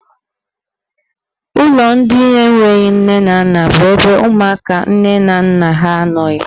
Ụlọ ndị enwe nne na nna bụ ebe ụmụaka nne na nna ha anọghị.